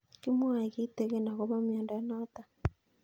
Kimwae kitig'in akopo miondo notok